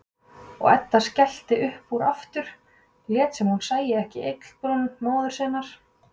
Og Edda skellti upp úr aftur, lét sem hún sæi ekki ygglibrún móður sinnar.